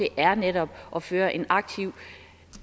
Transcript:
er netop at føre en aktiv